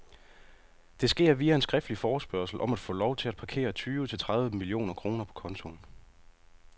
Det sker via en skriftlig forespørgsel om at få lov til at parkere tyve til tredive millioner kroner på kontoen.